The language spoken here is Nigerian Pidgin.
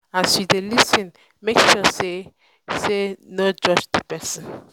as you de um lis ten make um sure um say no no judge di persin